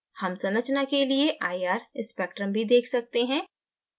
हम संरचना के लिए ir spectrum भी देख सकते हैं